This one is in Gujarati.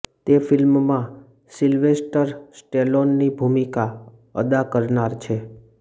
તે ફિલ્મમાં સિલ્વેસ્ટર સ્ટેલોનની ભુમિકા અદા કરનાર છે